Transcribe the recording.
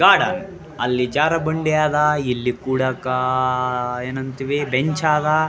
ಅಲ್ಲಿ ಜಾರೊಬಂಡಿ ಆದ ಇಲ್ಲಿ ಕೂಡಕ್ಕ ಏನಂತೀವಿ ಬೆಂಚ್ ಆದ.